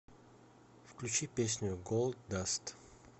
включи песню голд даст